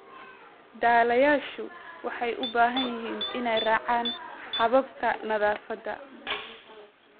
Dhallayaashu waxay u baahan yihiin inay raacaan hababka nadaafadda.